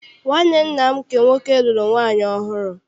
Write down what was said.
Nwanne nna m nke nwoke lụrụ nwaanyị ọhụụ.